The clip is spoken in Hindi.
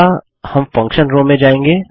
अगला हम फंक्शन रो में जाएँगे